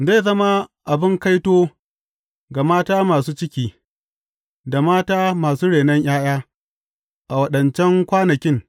Zai zama abin kaito ga mata masu ciki, da mata masu renon ’ya’ya, a waɗancan kwanakin!